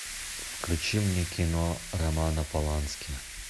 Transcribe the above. включи мне кино романа полански